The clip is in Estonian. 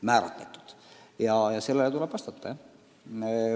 Ja sellele arvamusavaldusele tuleb vastata.